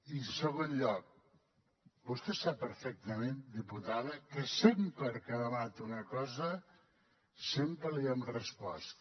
i en segon lloc vostè sap perfectament diputada que sempre que ha demanat una cosa sempre li hem respost